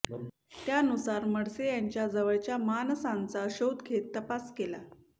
त्यानुसार म्हडसे यांच्या जवळच्या माणसांचा शोध घेत तपास केला